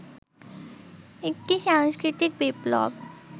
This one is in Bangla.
একটি সাংস্কৃতিক বিপ্লব